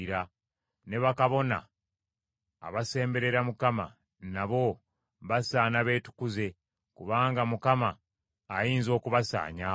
Ne bakabona, abasemberera Mukama , nabo basaana beetukuze, kubanga Mukama ayinza okubasaanyaawo.”